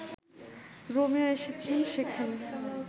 Romeo এসেছে সেখানে